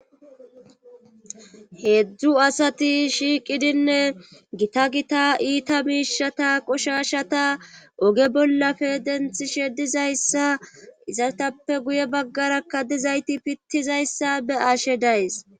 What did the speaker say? heedzdzu asati shiiqidinne gita gita iita miishata qoshashata oge bollafe denthi shedizayssa izaetappe guye baggarakka dizayti pittizayti dizayssa be ashe days